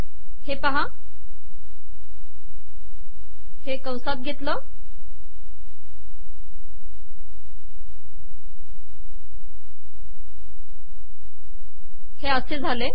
हे पहा हे असे झाले